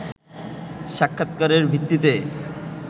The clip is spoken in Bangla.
সাক্ষাৎকারের ভিত্তিতে